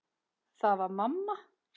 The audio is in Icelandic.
Það var mamma.